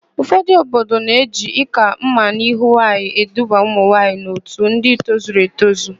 Ụfọdụ obodo na-eji ị́kà mma n'ahụ nwaanyị eduba ụmụnwaanyị n'otu ndị tozuru etozu.